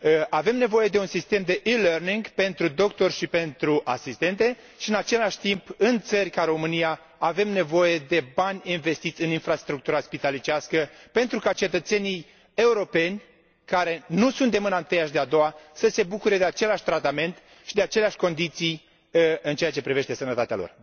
Avem nevoie de un sistem de e learning pentru doctori și pentru asistente și, în același timp, în țări ca România, avem nevoie de bani investiți în infrastructura spitalicească, pentru ca cetățenii europeni, care nu sunt de mâna întâia și de a doua, să se bucure de același tratament și de aceleași condiții în ceea ce privește sănătatea lor.